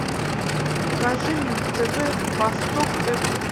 покажи мне на тв восток тв